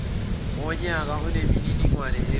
wonyaka onemininingwane ebekwe